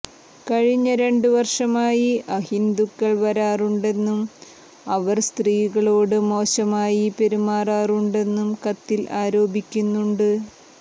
കഴിഞ്ഞ രണ്ടുവർഷമായി അഹിന്ദുക്കൾ വരാറുണ്ടെന്നും അവർ സ്ത്രീകളോടു മോശമായി പെരുമാറാറുണ്ടെന്നും കത്തിൽ ആരോപിക്കുന്നുണ്ട്